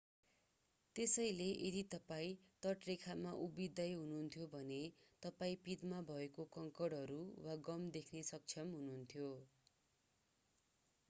त्यसैले यदि तपाईं तटरेखामा उभिँदै हुनुहुन्थ्यो भने तपाईं पिँधमा भएका कङ्कडहरू वा गम देख्न सक्षम हुनुहुन्थ्यो